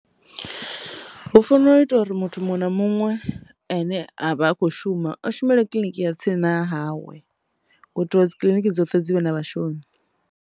Hu fanela u ita uri muthu muṅwe na muṅwe ane avha a kho shuma a shumele kiḽiniki ya tsini na hawe u itela uri dzi kiḽiniki dzoṱhe dzi vhe na vhashumi.